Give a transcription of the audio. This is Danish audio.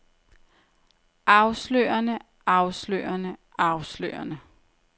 afslørende afslørende afslørende